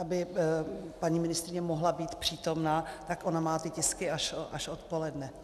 Aby paní ministryně mohla být přítomná, tak ona má ty tisky až odpoledne.